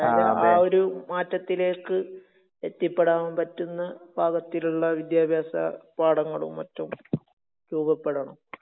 അതായത്, ആ ഒരു മാറ്റത്തിലേക്ക് എത്തിപ്പെടാൻ പറ്റുന്ന പാകത്തിലുള്ള വിദ്യാഭ്യാസപാഠങ്ങളും മറ്റും രൂപപ്പെടണം.